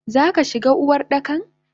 Zaka shigo Uwardakan?